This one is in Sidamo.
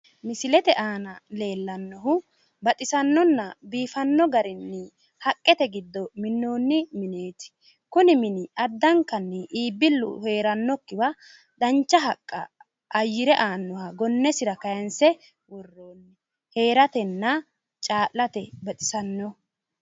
Misilete aana leellannohu baxisannonna biifanno garinni haqqete giddo minnoonni mineeti. kuni mini addankanni iibbillu heerannokkiwa dancha haqqa ayyire aannoha gonnesira kaanse worroonni. heeratenna caa'late baxisanno.